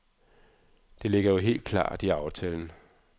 Det ligger jo helt klart i aftalen.